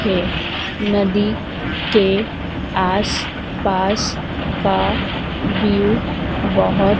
है नदी के आस पास का व्यू बहोत--